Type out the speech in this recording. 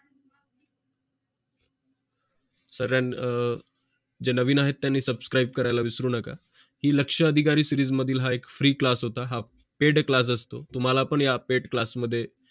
sir जे नवीन आहे त्यांनी subscribe करायला विसरू नकाही लक्ष अधिकारी सिरीज मधील हा एक free class होता हा पेड क्लास असतो तुम्हाला आपल्या पेट क्लास मध्ये